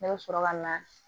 Ne bɛ sɔrɔ ka na